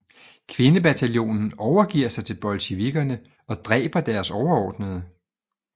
Kvindebataljonen overgiver sig til bolsjevikkerne og dræber deres overordnede